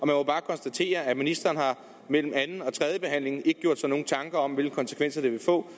må bare konstatere at ministeren mellem anden og tredjebehandlingen ikke har gjort sig nogen tanker om hvilke konsekvenser det vil få